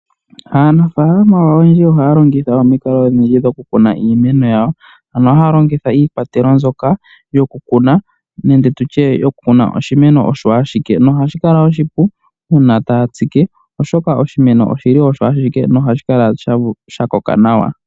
Aanafalama oyendji ohaya longitha omikalo odhindji dhokukuna iimeno yawo mono haya longitga niikwatelwa ndjoka yokukuna oshimeno osho ashike. Ohashi kala oshipu uuna taya tsike oshoka oshimeno ohashi kala osho ashike nohashi kala shakoka nawa.